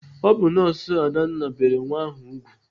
Ọ bụ nọọsụ Adanna bere nwa ahụ ùgwù.